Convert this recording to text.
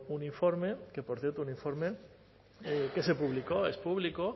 un informe que por cierto un informe que se publicó es público